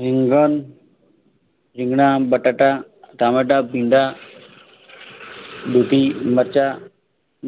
રીંગણ રીગણા બટાટા ટામેટા ભીંડા દૂધી મરચા